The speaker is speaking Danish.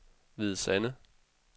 Hvide Sande